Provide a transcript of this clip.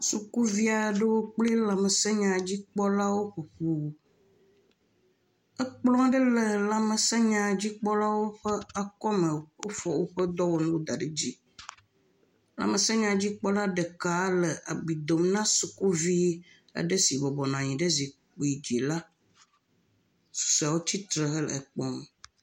Sukuvi aɖewo kple lãmesẽ nyadzikpɔlawo ƒoƒu, ekplɔ aɖe le lãmesẽ nyawo dzikpɔlawo ƒe akɔme, wofɔ woƒe dɔwɔnuwo da ɖe dzi, lãmesẽnyadzikpɔla ɖeka le abui dom na sukuvi aɖe si bɔbɔ nɔ anyi ɖe zikpui dzi la, susɔewo tsitre hele kpɔm.